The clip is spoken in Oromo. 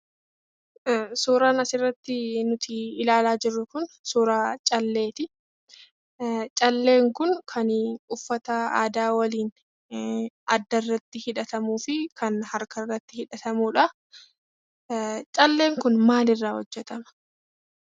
Suuraan asirrattii nutii ilaalaa jirru kun suuraa calleetii. Calleen kun kanii uffata aadaa waliin addarratti hidhatamuu fi kan harkarratti hidhatamudha. Calleen kun maalirraa hojjetama?